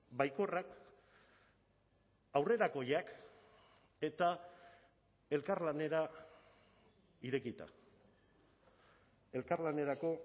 baikorrak aurrerakoiak eta elkarlanera irekita elkarlanerako